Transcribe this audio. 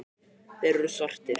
Þeir eru svartir.